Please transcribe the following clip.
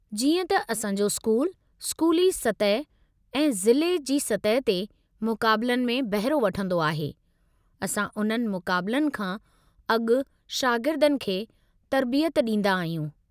जीअं त असां जो स्कूलु स्कूली सतह ऐं ज़िले जी सतह ते मुक़ाबलनि में बहिरो वठंदो आहे, असां उन्हनि मुक़ाबलनि खां अॻु शागिर्दनि खे तरबियत ॾींदा आहियूं।